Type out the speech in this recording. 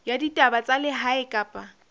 ya ditaba tsa lehae kapa